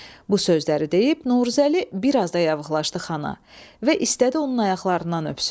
Bu sözləri deyib Novruzəli biraz da yavıqlaşdı xana və istədi onun ayaqlarından öpsün.